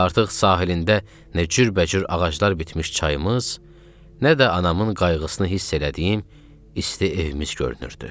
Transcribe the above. Artıq sahilində nə cürbəcür ağaclar bitmiş çayımız, nə də anamın qayğısını hiss elədiyim isti evimiz görünürdü.